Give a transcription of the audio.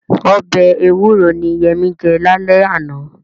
Ọbẹ̀ ewúro ni Yẹmí jẹ lálẹ́ àná.